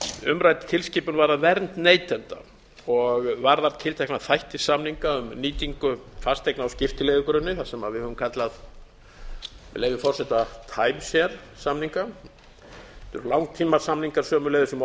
umrædd tilskipun varðar vernd neytenda og varðar tiltekna þætti samninga um nýtingu fasteigna á skiptileigugrunni það sem við höfum kallað með leyfi forseta time share samninga þetta eru langtímasamningar sömuleiðis um